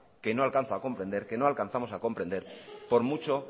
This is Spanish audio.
que no alcanzo a comprender que no alcanzamos a comprender por mucho